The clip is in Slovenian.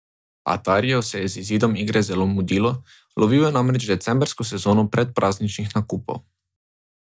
Atariju se je z izidom igre zelo mudilo, lovil je namreč decembrsko sezono predprazničnih nakupov.